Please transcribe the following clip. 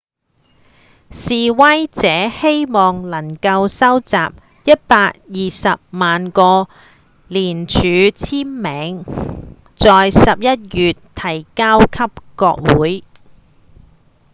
示威者希望能夠收集一百二十萬個連署簽名在十一月提交給國會